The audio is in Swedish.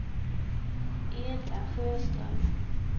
Edla Sjöström